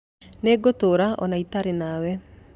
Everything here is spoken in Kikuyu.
Nĩngũtũũra o na itarĩ nawe